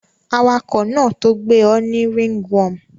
Awakò náà to gbé o ni ringworm